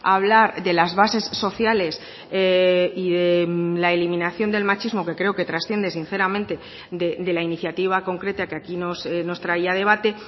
a hablar de las bases sociales y de la eliminación del machismo que creo que trasciende sinceramente de la iniciativa concreta que aquí nos traía a debate